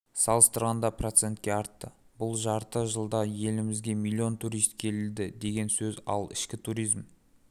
салыстырғанда процентке артты бұл жарты жылда елімізге миллион турист келді деген сөз ал ішкі туризм